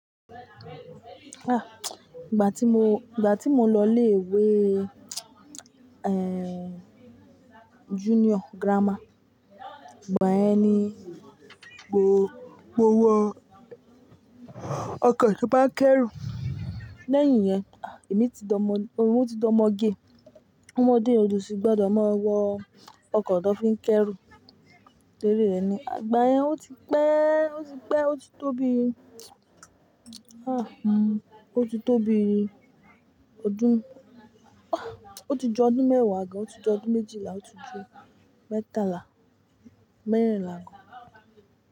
Ìgbà tí mo, ìgbà tí mo ǹ lọ ilé ìwé, junior grammar, ìgbà ẹ ni mo, mo wọ ọkọ́ tí ó máa ń kẹ́rù. Lẹ́yìn yẹn, èmi ti di ọ́mọ, ohun tí di ọ́mọgé. Ọmọdé ọdú sì gbọdọ̀ máa wọ ọkọ́ tó fi ń kẹ́rù. Tori rẹ̀ ni, àgbà yẹn ó ti pẹ́, ó ti pẹ́, ó ti tóbi. Ó ti tóbi ọdún, ó ti ju ọdún mẹ́wàá gan, ó ti ju ọdún méjìlá, ó ti ju mẹ́tala mẹ́rinlà gan.